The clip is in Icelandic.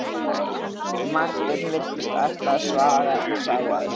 Marteinn virtist ætla að svara en sá að sér.